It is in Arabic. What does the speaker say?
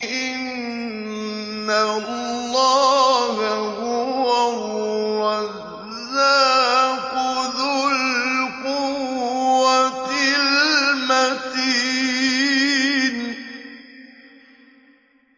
إِنَّ اللَّهَ هُوَ الرَّزَّاقُ ذُو الْقُوَّةِ الْمَتِينُ